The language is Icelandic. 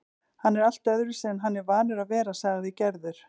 Hann er allt öðruvísi en hann er vanur að vera, sagði Gerður.